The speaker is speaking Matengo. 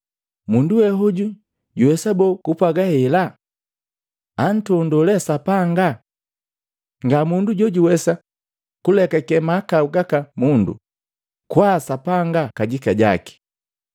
“Mundu we hoju juwesa boo kupwaga hela? Antondoo lee Sapanga! Nga mundu jojuwesa kulekake mahakau gaka mundu, kwaa Sapanga kajika jaki!”